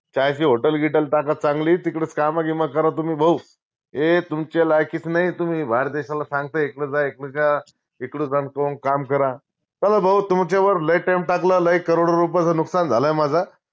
चायची hotel गिटल टाका चांगली तिकडचं काम गिम करा तुम्ही भाऊ हे तुमच्या लायकीच नाई तुम्ही बाहेर देशाला सांगताय इकडं जा इकडं जा इकडं जाऊन काम करा चला भाऊ तुमच्यावर लय time टाकला लय crore डो रुपयाचं नुकसान झालाय माझा